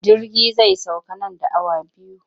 Jirgi zai sauka nan da awa biyu.